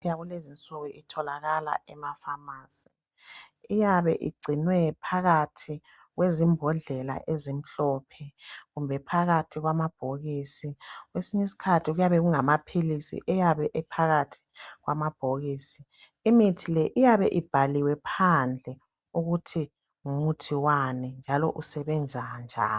Imithi yalenzinsuku itholaka emapharmacy. Iyabe igcinwe phakathi kwezimbodlela ezimhlophe kumbe phakathi kwamabhokisi. Kwesinye isikhathi kuyabe kungamaphilisi eyabe ephakathi kwamabhokisi. Imithi le iyabe ibhaliwe phandle ukuthi ngumuthi wani njalo usebenza njani.